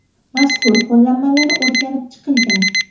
Mazkur qo‘llanmalar o‘rganib chiqilgan.